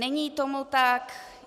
Není tomu tak.